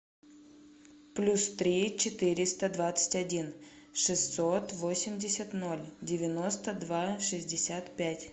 плюс три четыреста двадцать один шестьсот восемьдесят ноль девяносто два шестьдесят пять